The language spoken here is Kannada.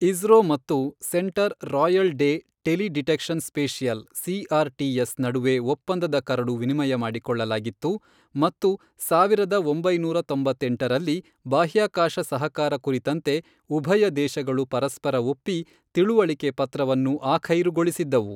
ಇಸ್ರೋ ಮತ್ತು centre royal de teledetection spatial C R T S ನಡುವೆ ಒಪ್ಪಂದದ ಕರಡು ವಿನಿಮಯ ಮಾಡಿಕೊಳ್ಳಲಾಗಿತ್ತು ಮತ್ತು ಸಾವಿರದ ಒಂಬೈನೂರ ತೊಂಬತ್ತೆಂಟರಲ್ಲಿ ಬಾಹ್ಯಾಕಾಶ ಸಹಕಾರ ಕುರಿತಂತೆ ಉಭಯ ದೇಶಗಳು ಪರಸ್ಪರ ಒಪ್ಪಿ, ತಿಳುವಳಿಕೆ ಪತ್ರವನ್ನು ಆಖೈರುಗೊಳಿಸಿದ್ದವು.